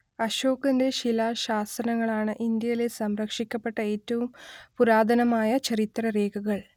അശോകന്റെ ശിലാശാസനങ്ങളാണ് ഇന്ത്യയിലെ സംരക്ഷിക്കപ്പെട്ട ഏറ്റവും പുരാതനമായ ചരിത്രരേഖകൾ